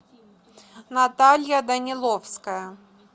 наталья даниловская